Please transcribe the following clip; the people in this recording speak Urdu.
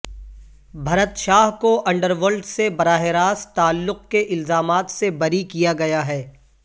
بھرت شاہ کو انڈرورلڈ سے براہ راست تعلق کے الزامات سے بری کیا گیا ہے